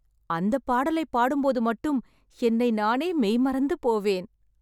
அந்தப் பாடலை பாடும் போது மட்டும் என்னை நானே மெய் மறந்து போவேன்